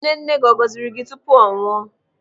Nne nne gị ọ gọziri gị tupu ọ nwụọ?